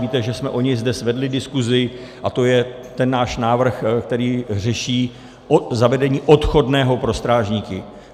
Víte, že jsme o něj zde svedli diskusi, a to je ten náš návrh, který řeší zavedení odchodného pro strážníky.